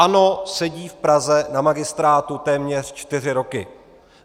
ANO sedí v Praze na magistrátu téměř čtyři roky.